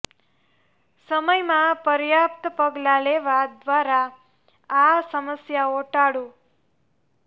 સમય માં પર્યાપ્ત પગલાં લેવા દ્વારા આ સમસ્યાઓ ટાળો